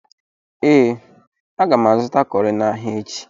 Ee, aga m azụta cọrị n'ahịa echi.